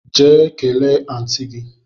Jee kelee Aunty gi!